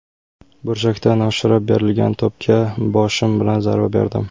Burchakdan oshirib berilgan to‘pga boshim bilan zarba berdim.